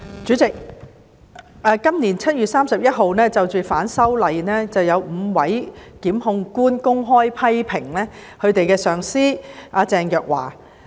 主席，今年7月31日，有5位檢控官因應反修例風波公開批評其上司鄭若驊。